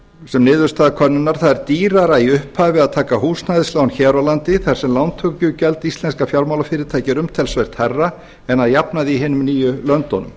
sem niðurstaða könnunar það er dýrara í upphafi að taka húsnæðislán hér á landi þar sem lántökugjald íslenskra fjármálafyrirtækja er umtalsvert hærra en að jafnaði í hinum níu löndunum